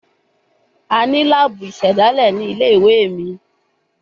A ni laabu isedale ni ile-iwe mi